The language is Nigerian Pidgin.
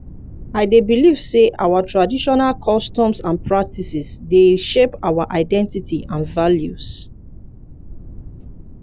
i dey believe say our traditional customs and practices dey shape our identify and values.